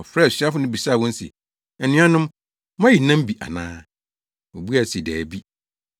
Ɔfrɛɛ asuafo no bisaa wɔn se, “Anuanom, moayi nam bi ana?” Wobuae se, “Dabi.”